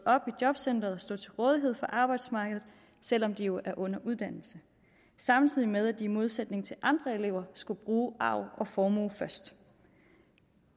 op i jobcentret og stå til rådighed for arbejdsmarkedet selv om de jo er under uddannelse samtidig med at de i modsætning til andre elever skullet bruge arv og formue først